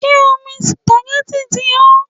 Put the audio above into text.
Ṣé omi supagẹ́tì ti hó?